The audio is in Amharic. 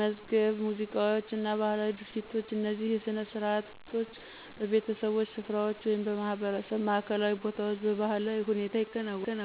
መዝገብ ሙዚቃ እና ባህላዊ ድርጊቶች። እነዚህ ሥነ ሥርዓቶች በቤተሰቦች ስፍራዎች ወይም በማህበረሰብ ማዕከላዊ ቦታዎች በባህላዊ ሁኔታ ይከናወናሉ።